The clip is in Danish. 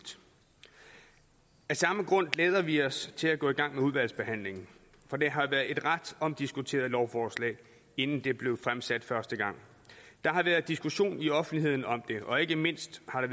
af samme grund glæder vi os til at gå i gang med udvalgsbehandlingen for det har været et ret omdiskuteret lovforslag inden det blev fremsat første gang der har været diskussion i offentligheden om det og ikke mindst har